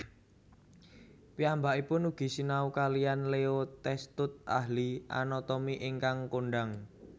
Piyambakipun ugi sinau kaliyan Leo Testut ahli anatomi ingkang kondhang